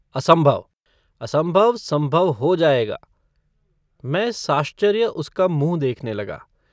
असम्भव। असम्भव सम्भव हो जाएगा। मैं साश्चर्य उसका मुँह देखने लगा।